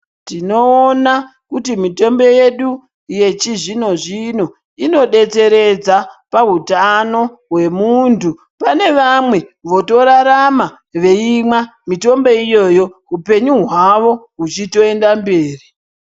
Tinoona kuti mitombo yedu yechizvino-zvino inodetseredza pahutano hwemuntu. Pane vamwe votorarama veimwa mitombo iyoyo upenyu hwavo huchitoenda mberi.